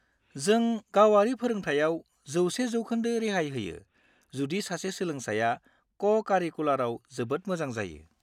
जों गावारि फोरोंथायाव 100% रेहाय होयो जुदि सासे सोलोंसाया क'-कारिकुलारआव जोबोद मोजां जायो।